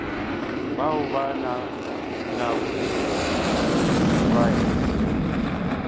bao ba nago le twatši